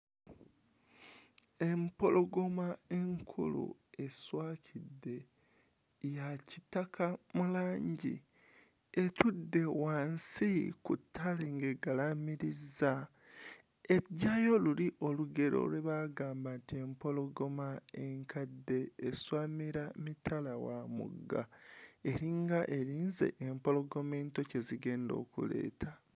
Empologoma enkulu eswakidde ya kitaka mu langi etudde wansi ku ttabi ng'egalaamirizza, eggyayo luli olugero lwe baagamba nti empologoma enkadde eswamira mitala wa mugga eringa erinze empologoma ento kye zigenda okuleeta.